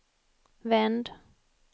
vänd